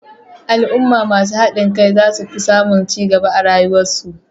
Al'umma masu hadin kai zasu fi samun cigaba a rayuwar su